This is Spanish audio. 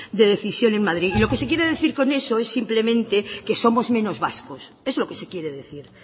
de decisión en madrid y lo que se quiere decir con eso es simplemente que somos menos vascos es lo que se quiere decir